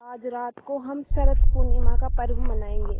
आज रात को हम शरत पूर्णिमा का पर्व मनाएँगे